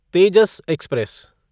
Tejas express